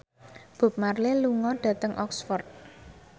Bob Marley lunga dhateng Oxford